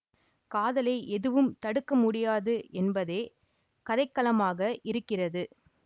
காதலை எதுவும் தடுக்க முடியாது என்பதே கதைக்களமாக இருக்கிறது